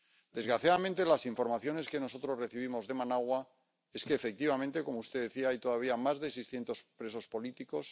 Desgraciadamente, las informaciones que nosotros recibimos de Managua es que, efectivamente —como usted decía—, hay todavía más de seiscientos presos políticos.